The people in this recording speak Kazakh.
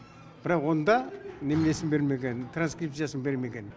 бірақ онда неменесін бермеген транскрипциясын бермеген